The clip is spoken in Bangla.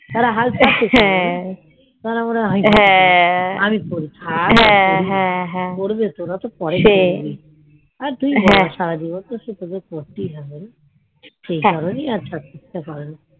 যারা হাল ছাড়ছে কারণ আমাদের বয়েস হচ্ছে আর কি করি করবে তো তোরা তো পরে করবি আর তুই বল সারাজীবন তো তোদের করতেই হবে রে সেই কারণেই আর ছাড়তে ইচ্ছা করে না